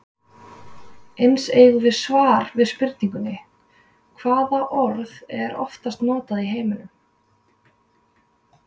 Eins eigum við svar við spurningunni Hvaða orð er oftast notað í heiminum?